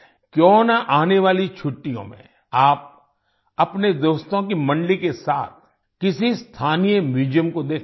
क्यों न आने वाली छुट्टियों में आप अपने दोस्तों की मंडली के साथ किसी स्थानीय म्यूजियम को देखने जाएं